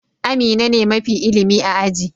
Amina ne mafi ilimi a aji.